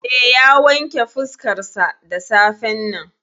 Eh, ya wanke fuskarsa da safen nan.